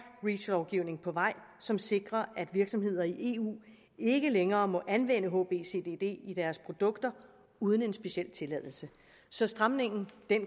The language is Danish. reach lovgivning på vej som sikrer at virksomheder i eu ikke længere må anvende hbcdd i deres produkter uden en speciel tilladelse så stramningen